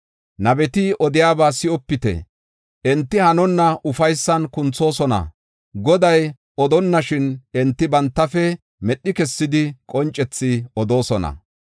“Nabeti odiyaba si7opite; enti hanonna ufaysan kunthoosona. Goday odonnashin enti bantafe medhi kessidi qoncethi odoosona.